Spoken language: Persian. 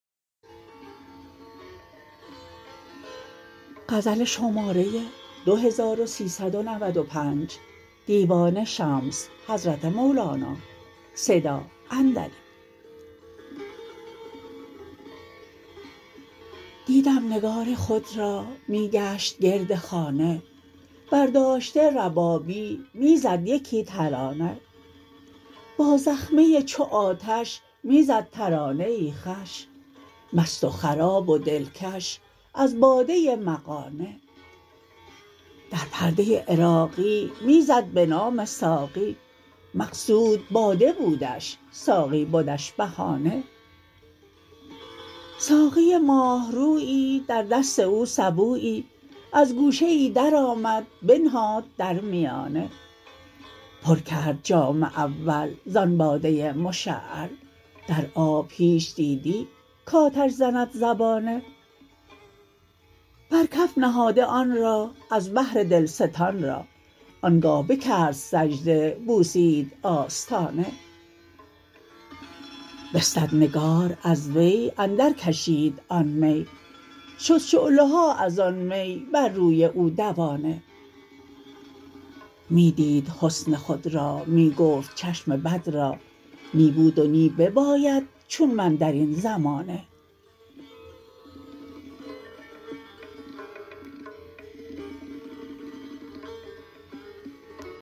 دیدم نگار خود را می گشت گرد خانه برداشته ربابی می زد یکی ترانه با زخمه چو آتش می زد ترانه خوش مست و خراب و دلکش از باده مغانه در پرده عراقی می زد به نام ساقی مقصود باده بودش ساقی بدش بهانه ساقی ماه رویی در دست او سبویی از گوشه ای درآمد بنهاد در میانه پر کرد جام اول زان باده مشعل در آب هیچ دیدی کآتش زند زبانه بر کف نهاده آن را از بهر دلستان را آنگه بکرد سجده بوسید آستانه بستد نگار از وی اندرکشید آن می شد شعله ها از آن می بر روی او دوانه می دید حسن خود را می گفت چشم بد را نی بود و نی بیاید چون من در این زمانه